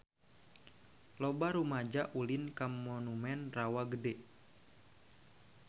Loba rumaja ulin ka Monumen Rawa Gede